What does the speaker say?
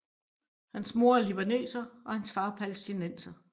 Hans mor er libaneser og hans far palæstinenser